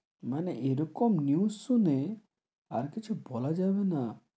মানে এরকম news শুনে, আর কিছু বলা যাবে না,